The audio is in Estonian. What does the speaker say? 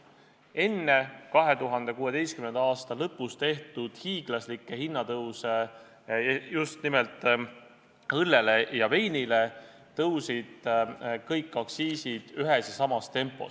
Enne 2016. aasta lõpus tehtud hiiglaslikke just nimelt õlle- ja veiniaktsiisi tõuse tõusid kõik aktsiisid ühes ja samas tempos.